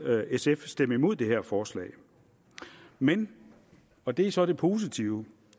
sf stemme imod det her forslag men og det er så det positive